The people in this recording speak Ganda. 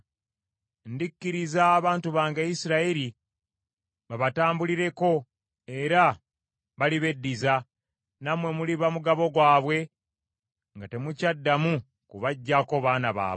Ndikkiriza abantu bange, Isirayiri babatambulireko, era balibeddiza, nammwe muliba mugabo gwabwe nga temukyaddamu kubaggyako baana baabwe.